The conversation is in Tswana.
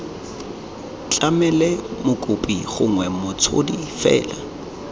tlamele mokopi gongwe motshodi fela